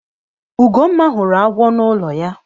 Ugomma hụrụ agwọ na ụlọ ya.